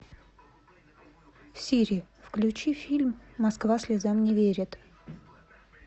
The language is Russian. сири включи фильм москва слезам не верит